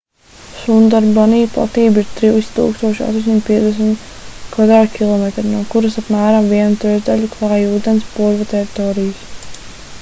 sundarbani platība ir 3850 km² no kuras apmēram vienu trešdaļu klāj ūdens/purva teritorijas